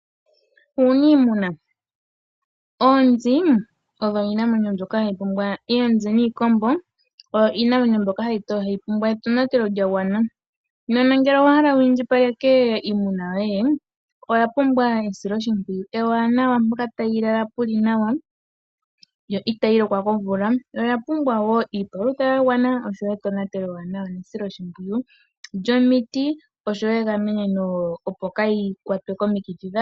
Uuniimuna, oonzi niikombo oyo iinamwenyo mbyoka hayi pumbwa etonatelo lya gwana, nena ngele owahala wu indjipaleke iimuna yoye oya pumbwa esiloshimpwiyu ewanawa mpoka tayi lala puli nawa yo itayi lokwa komvula yo oya pumbwa wo iipalutha ya gwana oshowo etonatelo ewanawa nesiloshimpwiyu lyomiti oshowo egameno opo kayii kwatwe komikithia dha yooloka.